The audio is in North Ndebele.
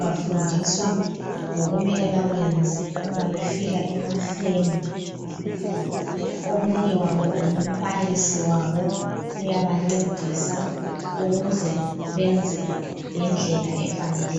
bafundiswa ngokumele bakwenze umabefika emafemu omunye wabo ngumbalisi wabo, uyabancedisa ukuze benze ngendlela efaneleyo.